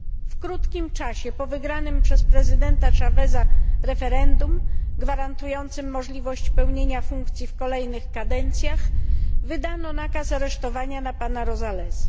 W krótkim czasie po wygranym przez prezydenta Chaveza referendum, gwarantującym możliwość pełnienia funkcji w kolejnych kadencjach, wydano nakaz aresztowania na pana Rosalesa.